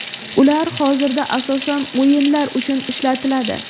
Ular hozirda asosan o‘yinlar uchun ishlatiladi.